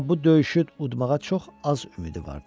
Amma bu döyüşü udmağa çox az ümidi vardı.